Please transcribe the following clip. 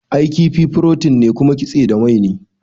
I, kifi furotin ne kuma kitse da mai ne